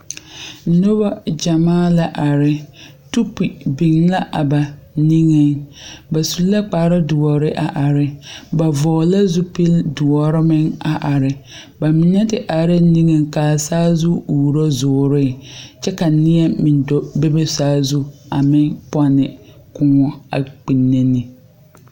Noba gyɛmaa la are tube biŋla a ba nigeŋ ba su kparedoɔr a agre ba vɔgle la zupil doɔre meŋ a are ba mine te are la nigeŋ ka a saazu uuro zoore kyɛ ka neɛ meŋ do bebe saazu a meŋ pɔnne koɔ a kpinne ne.